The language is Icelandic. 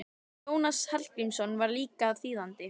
Jónas Hallgrímsson var líka þýðandi.